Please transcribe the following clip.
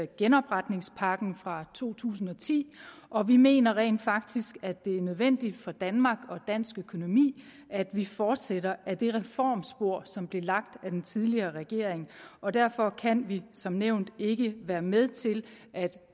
genopretningspakken fra to tusind og ti og vi mener rent faktisk at det er nødvendigt for danmark og dansk økonomi at vi fortsætter ad det reformspor som blev lagt af den tidligere regering og derfor kan vi som nævnt ikke være med til at